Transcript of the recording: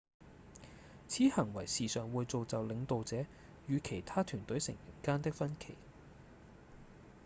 此行為時常會造就領導者與其他團隊成員間的分歧